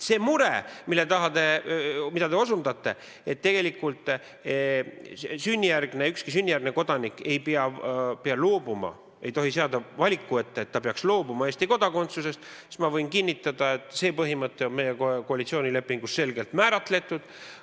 See mure, millele te viitate, et tegelikult ükski sünnijärgne kodanik ei peaks loobuma Eesti kodakondsusest, teda ei tohiks seada valiku ette, et ta peaks loobuma Eesti kodakondsusest, sellega seoses võin ma kinnitada, et see põhimõte on meie koalitsioonilepingus selgelt määratletud.